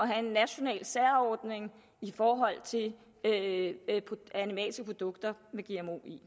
have en national særordning i forhold til animalske produkter med gmo i